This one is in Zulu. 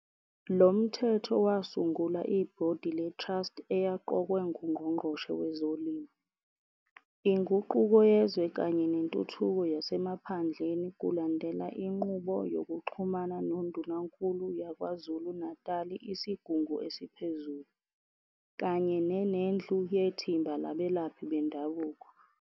Lo Mthetho wasungula i-Bhodi leTrust eyaqokwe nguNgqongqoshe Wezolimo, Inguquko Yezwe kanye Nentuthuko Yasemaphandleni kulandela inqubo yokuxhumana noNdunankulu yaKwaZulu Natali iSigungu Esiphezulu, kanye ne-Nendlu yeThimba laBelaphi Bendabuko.